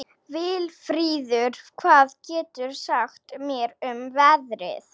Vilfríður, hvað geturðu sagt mér um veðrið?